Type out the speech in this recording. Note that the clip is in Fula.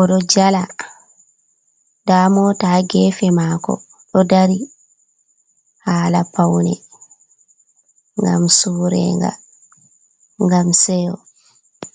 oɗo jala, nda mota haa gefe mako ɗo dari hala paune, ngam surega, ngam seyo.